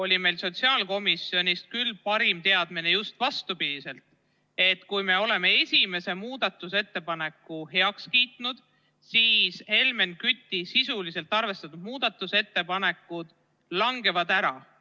Ja meil oli sotsiaalkomisjonis küll vastupidine teadmine: et kui me oleme esimese muudatusettepaneku heaks kiitnud, siis Helmen Küti sisuliselt arvestatud muudatusettepanekud langevad ära.